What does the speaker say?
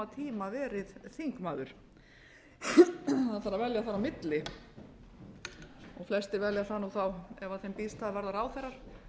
tíma verið þingmaður það þarf að velja þar á milli flestir velja það nú ef þeim býðst það að verða ráðherrar